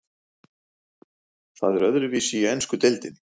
Það er öðruvísi í ensku deildinni.